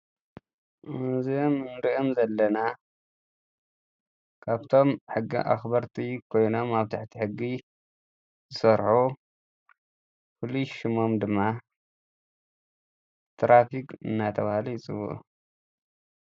እዞም እንርእዮም ዘለና ካብቶም ሕጊ ኣኽበርቲ ኮይኖም ኣብ ትሕቲ ሕጊ ዝሰርሑ፣ ፍሉይ ሽሞም ድማ ትራፊክ እናተብሃሉ ይጽዉዑ።